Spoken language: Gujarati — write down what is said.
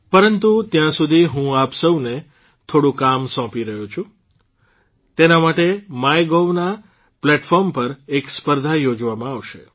પરંતુ ત્યાં સુધી હું આપ સૌને થોડું કામ સોંપી રહ્યો છું તેના માટે માયગોવ ના પ્લેટફોર્મ પર એક સ્પર્ધા યોજવામાં આવશે